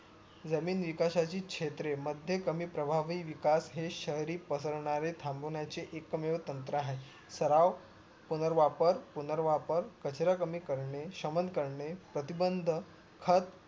जमीन विकासाची क्षेत्र मध्ये कमी प्रवाह कमी विकास हे शहरी प्रसरणारे थांबवण्याचे एक मेव तंत्र आहे. सराव पुनर्वापर पुनर्वापर कचरा कमी करणे श्रमण करणे प्रतिबंद खत